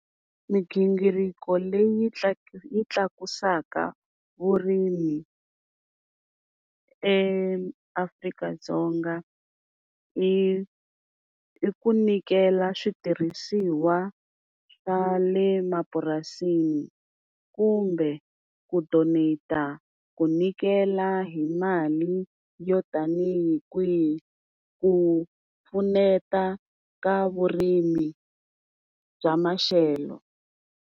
Migingiriko leyi yi tlakusaka vurimi eAfrika-Dzonga, i i ku nyikela switirhisiwa swa le mapurasini kumbe ku donete-a, ku nyikela hi mali yo tanihi kwihi ku pfuneta ka vurimi bya maxelo.